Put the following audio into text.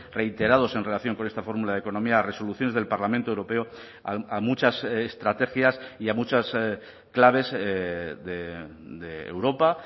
reiterados en relación con esta fórmula de economía resoluciones del parlamento europeo a muchas estrategias y a muchas claves de europa